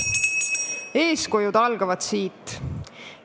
Eeskujud algavad siit.